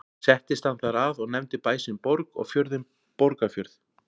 Settist hann þar að og nefndi bæ sinn Borg og fjörðinn Borgarfjörð.